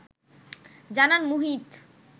জানান মুহিত